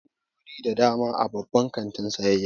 Akwai ɓangarori da dama a babban kantin sayayya.